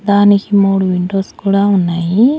దానికి మూడు విండోస్ కూడా ఉన్నాయి.